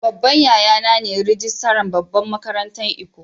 Babban yaya na ne rijistiran babban makarantan lkko.